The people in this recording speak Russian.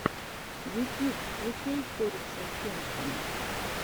ютьюб включай корикса кеншина